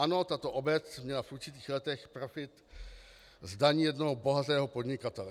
Ano, tato obec měla v určitých letech profit z daní jednoho bohatého podnikatele.